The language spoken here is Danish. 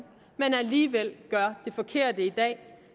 men alligevel gør det forkerte i dag